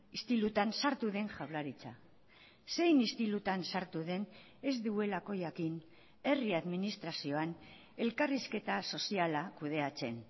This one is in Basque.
istilutan sartu den jaurlaritza zein istilutan sartu den ez duelako jakin herri administrazioan elkarrizketa soziala kudeatzen